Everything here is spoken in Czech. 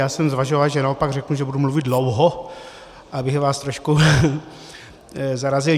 Já jsem zvažoval, že naopak řeknu, že budu mluvit dlouho, abych vás trošku zarazil.